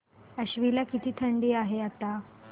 आश्वी ला किती थंडी आहे आता